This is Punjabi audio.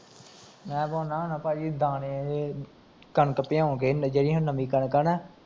ਮੈਂ ਪਾਉਣਾ ਹੁਨਾ ਭਾਜੀ ਦਾਣੇ, ਕਣਕ ਭਿਓਂਕੇ, ਜੇੜੀ ਹੁਣ ਨਵੀਂ ਕਣਕ ਆ ਨਾ